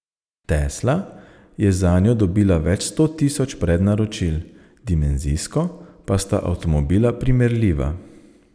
Tesla je zanjo dobila več sto tisoč prednaročil, dimenzijsko pa sta avtomobila primerljiva.